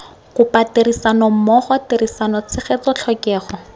kopa tirisanommogo tirisano tshegetso tlhokego